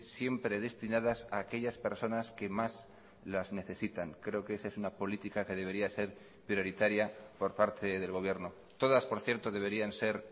siempre destinadas a aquellas personas que más las necesitan creo que esa es una política que debería ser prioritaria por parte del gobierno todas por cierto deberían ser